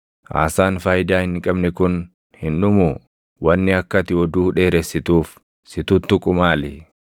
Haasaan faayidaa hin qabne kun hin dhumuu? Wanni akka ati oduu dheeressituuf si tuttuqu maali?